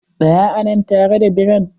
Tsaya a nan tare da birran!